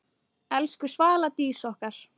Elsku Svala Dís okkar.